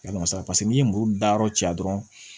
A masa paseke n'i ye muru da yɔrɔ cɛ dɔrɔn